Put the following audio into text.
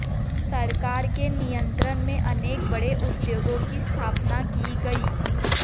सरकार के नियंत्रण में अनेक बड़े उद्योगों की स्थापना की गई